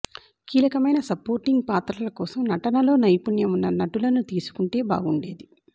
కీలకమైన సపోర్టింగ్ పాత్రల కోసం నటనలో నైపుణ్యం ఉన్న నటులను తీసుకుంటే బాగుండేది